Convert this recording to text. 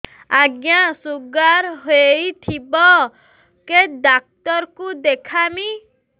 ଆଜ୍ଞା ଶୁଗାର ହେଇଥିବ କେ ଡାକ୍ତର କୁ ଦେଖାମି